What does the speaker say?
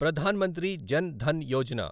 Pradhan Mantri Jan Dhan Yojana